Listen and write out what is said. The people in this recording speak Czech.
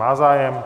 Má zájem.